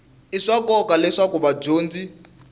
i swa nkoka leswaku vadyondzi